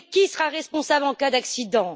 Mais qui sera responsable en cas d'accident?